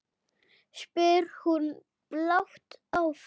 spyr hún blátt áfram.